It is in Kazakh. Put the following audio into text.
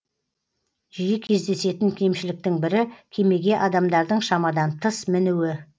жиі кездесетін кемшіліктің бірі кемеге адамдардың шамадан тыс мінуі